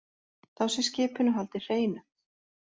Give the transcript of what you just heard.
Þá sé skipinu haldið hreinu